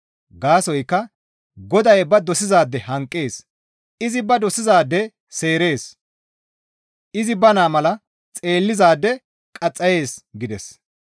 Gaasoykka Goday ba dosizaade hanqees; izi ba dosizaade seerees; izi ba naa mala xeellizaade qaxxayees» gides.